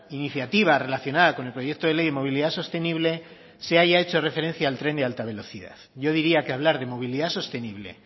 iniciativa relacionada con el proyecto de ley de movilidad sostenible se haya hecho referencia al tren de alta velocidad yo diría que hablar de movilidad sostenible